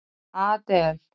Adel